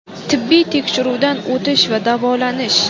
tibbiy tekshiruvdan o‘tish va davolanish;.